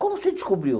Como você descobriu?